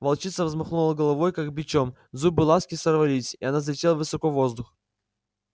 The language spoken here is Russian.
волчица взмахнула головой как бичом зубы ласки сорвались и она взлетела высоко в воздух